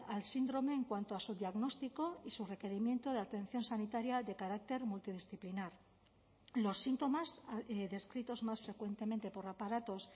al síndrome en cuanto a su diagnóstico y su requerimiento de atención sanitaria de carácter multidisciplinar los síntomas descritos más frecuentemente por aparatos